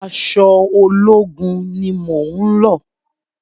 Aṣọ ológun mi ni mo ń lọ̀.